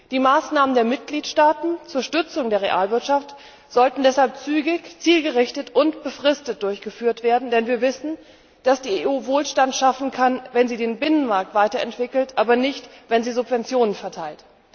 Die Maßnahmen der Mitgliedstaaten zur Stützung der Realwirtschaft sollten deshalb zügig, zielgerichtet und befristet durchgeführt werden, denn wir wissen, dass die EU Wohlstand schaffen kann, wenn sie den Binnenmarkt weiter entwickelt, aber nicht wenn sie Subventionen verteilt.